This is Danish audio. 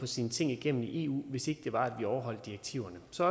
sine ting igennem i eu hvis ikke det var at vi overholdt direktiverne så